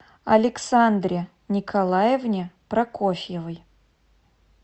александре николаевне прокофьевой